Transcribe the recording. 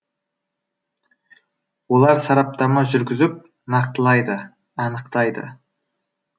олар сараптама жүргізіп нақтылайды анықтайды